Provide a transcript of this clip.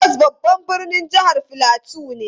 Jos babban birnin jihar Filato ne.